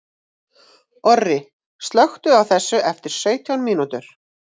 Orri, slökktu á þessu eftir sautján mínútur.